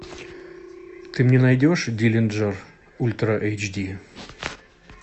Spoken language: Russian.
ты мне найдешь диллинджер ультра эйч ди